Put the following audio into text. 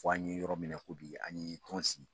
Fo an ye yɔrɔ minɛ ko bi an ye ton sigi.